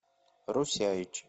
русяич